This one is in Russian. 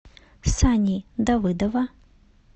сани давыдова